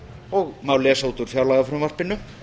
og má lesa út úr fjárlagafrumvarpinu